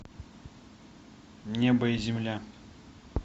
небо и земля